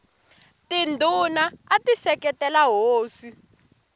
tindhuna ati seketela hosi